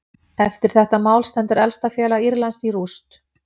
Eftir þetta mál stendur elsta félag Írlands í rúst.